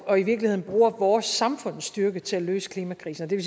og i virkeligheden bruger vores samfunds styrke til at løse klimakrisen og det